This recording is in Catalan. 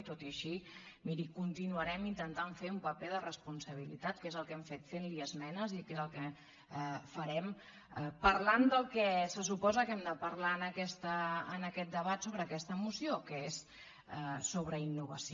tot i així miri continuarem intentant fer un paper de responsabilitat que és el que hem fet fent li esmenes i que és el que farem parlant del que se suposa que hem de parlar en aquest debat sobre aquesta moció que és sobre innovació